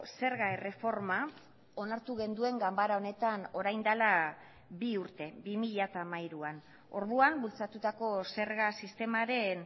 zerga erreforma onartu genuen ganbara honetan orain dela bi urte bi mila hamairuan orduan bultzatutako zerga sistemaren